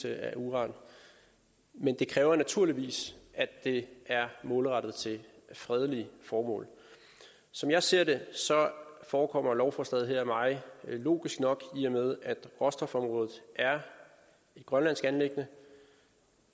af uran men det kræver naturligvis at det er målrettet fredelige formål som jeg ser det forekommer lovforslaget her mig logisk nok i og med at råstofområdet er et grønlandsk anliggende